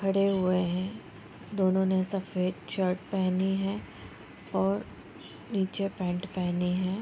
खड़े हुए हैं दोनों ने सफ़ेद शर्ट पहनी है और नीचे पैंट पहनी है |